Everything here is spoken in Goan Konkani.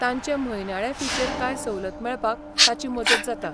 तांचे म्हयनाळे फीचेर कांय सवलत मेळपाक ताची मजत जाता.